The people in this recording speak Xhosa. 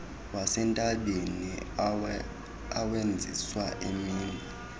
wasentabeni awenziwa emini